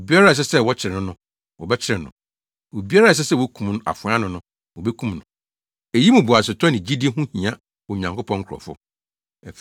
“Obiara a ɛsɛ sɛ wɔkyere no no, wɔbɛkyere no. Obiara a ɛsɛ sɛ wokum no afoa ano no, wobekum no.” Eyi mu boasetɔ ne gyidi ho hia Onyankopɔn nkurɔfo.